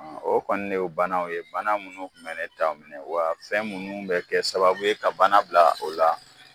o kɔni de ye banaw ye bana munnu tun bɛ ne ta minɛ wa fɛn munnu bɛ kɛ sababu ye ka bana bila o la